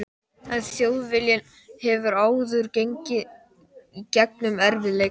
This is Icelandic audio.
En Þjóðviljinn hefur áður gengið í gegnum erfið- leika.